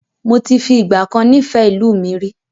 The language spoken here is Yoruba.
Moti fi ìgbàkan nifẹ ìlú mi rí